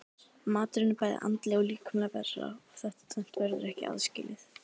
Maðurinn er bæði andleg og líkamleg vera og þetta tvennt verður ekki aðskilið.